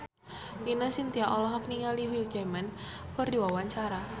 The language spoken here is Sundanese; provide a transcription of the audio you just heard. Ine Shintya olohok ningali Hugh Jackman keur diwawancara